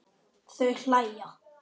Þau hlæja.